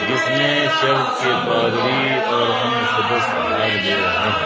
इसमें चर्च के पादरी और अन्य सदस्य भाग दे रहे हैं।